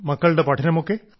മക്കളുടെ പഠനമൊക്കെ